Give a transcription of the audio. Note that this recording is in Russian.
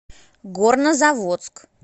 горнозаводск